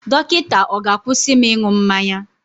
Dọkịta ọ̀ ga-akwụsị m ịṅụ mmanya?